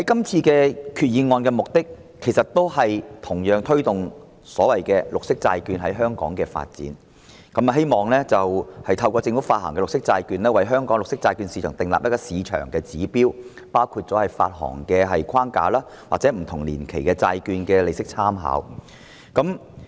這項決議案的目的其實同樣是推動綠色債券在香港的發展，希望透過由政府發行的綠色債券，為香港的綠色債券市場訂立市場指標，包括發行框架或不同年期債券的利息參考。